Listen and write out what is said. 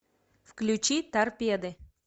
включи торпеды